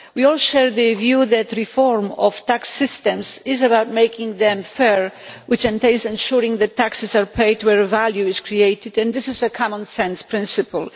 We all share the view that reform of tax systems is about making them fair, which entails ensuring that taxes are paid where value is created, and this is a common sense principle.